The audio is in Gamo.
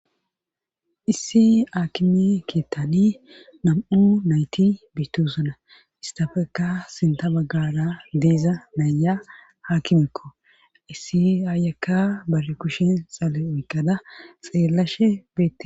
Issi aakime keettani nam7u nayti biitusana istafekka sinta baggara deeza naya haakimekko issi aayakka bare kushin xale oykada xeellashe beette